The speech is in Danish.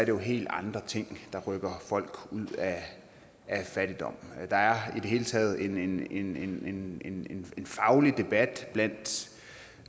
jo helt andre ting der rykker folk ud af fattigdom der er i det hele taget en en faglig debat blandt